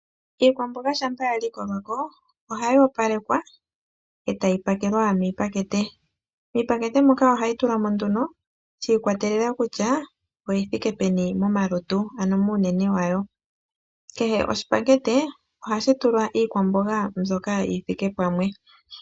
Iikwamboga shampa ya likolwa ko ohayi opalekwa ohayi opalekwa etayi pakelwa miipakete, miipakete moka ohayi tulwa mo nduno shii kwatelela kutya oyina uunene wuthike pamwe, kehe oshipakete ohashi tulwa iikwamboga mbyoka yi thike pamwe.